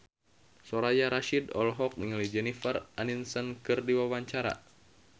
Soraya Rasyid olohok ningali Jennifer Aniston keur diwawancara